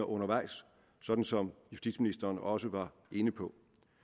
undervejs sådan som justitsministeren også var inde på